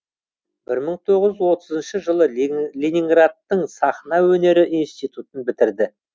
бір мың тоғыз жүз отызыншы жылы ленинградтың сахна өнері институтын бітірді